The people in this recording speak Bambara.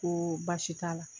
Ko baasi t'a la